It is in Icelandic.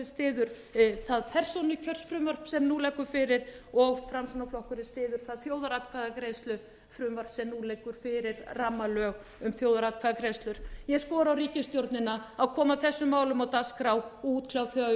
styður það persónukjörsfrumvarp sem nú liggur fyrir og framsóknarflokkurinn styður það þjóðaratkvæðagreiðslufrumvarp sem nú liggur fyrir rammalög um þjóðaratkvæðagreiðslur ég skora á ríkisstjórnina að koma þessum málum á dagskrá og útkljá þau